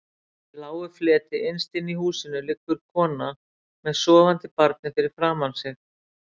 Í lágu fleti innst inni í húsinu liggur konan með sofandi barnið fyrir framan sig.